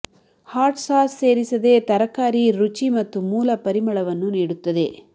hot sauce ಸೇರಿಸದೇ ತರಕಾರಿ ರುಚಿ ಮತ್ತು ಮೂಲ ಪರಿಮಳವನ್ನು ನೀಡುತ್ತದೆ